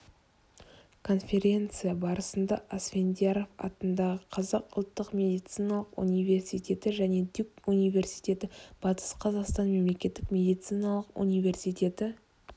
конференция барысында асфендияров атындағы қазақ ұлттық медициналық университеті және дюк университеті батыс қазақстан мемлекеттік медициналық университеті